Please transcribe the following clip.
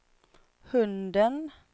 hunden